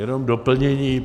Jenom doplnění.